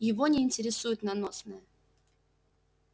его не интересует наносное